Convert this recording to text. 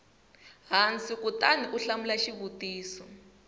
hansi kutani u hlamula xivutiso